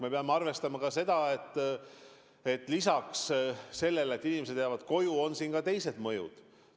Me peame arvestama ka seda, et lisaks sellele, et inimesed jäävad koju, on mängus ka teised mõjud.